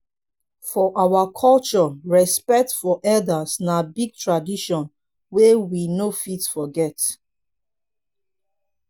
for our culture respect for elders na big tradition wey we no fit forget.